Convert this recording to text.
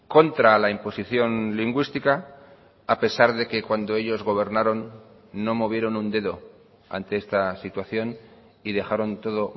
contra la imposición lingüística a pesar de que cuando ellos gobernaron no movieron un dedo ante esta situación y dejaron todo